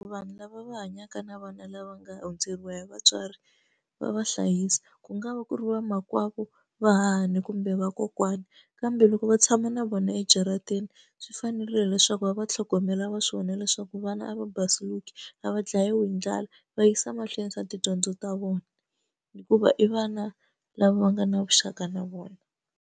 Vanhu lava va hanyaka na vana lava nga hundzeriwa hi vatswari va va hlayisa ku nga va ku ri va makwavo, vahahani kumbe vakokwani kambe loko va tshama na vona ejarateni swi fana fanerile leswaku va va tlhogomela va swi vona leswaku vana a va basisiweke a va dlayiwa hi ndlala va yisa mahlweni swa tidyondzo ta vona hikuva i vana lava nga na vuxaka na vona.